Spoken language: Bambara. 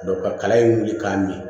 ka kala in wuli k'a mi